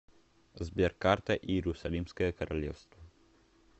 сбер карта иерусалимское королевство